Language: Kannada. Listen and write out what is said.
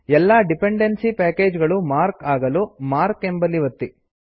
ಎಲ್ಲಾ ಡಿಪೆಂಡೆನ್ಸಿ ಪ್ಯಾಕೇಜ್ ಗಳು ಮಾರ್ಕ್ ಆಗಲು ಮಾರ್ಕ್ ಎಂಬಲ್ಲಿ ಒತ್ತಿ